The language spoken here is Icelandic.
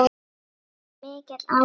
Það er mikill áhugi.